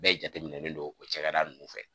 Bɛɛ jateminɛnen don o cɛkɛda ninnu fɛ